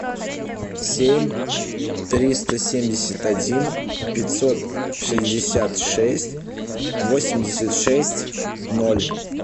семь триста семьдесят один пятьсот шестьдесят шесть восемьдесят шесть ноль